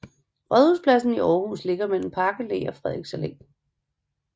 Rådhuspladsen i Aarhus ligger mellem Park Allé og Frederiks Allé